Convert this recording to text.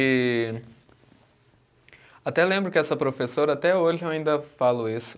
E. Até lembro que essa professora, até hoje eu ainda falo isso.